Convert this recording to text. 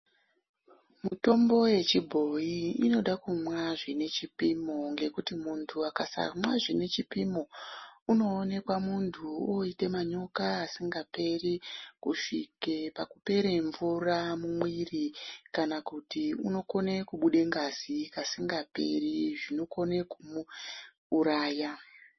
Mitombo yechibhoyi inoda kunwa zvinechipimo ngekuti muntu akasamwa zvinechipimo unoonekwa muntu oita manyoka asingaperi kusvika pakupera mumvura mumuviri kana kuti unokone kubuda ngazi kasingaperi zvinokone kumuuraya.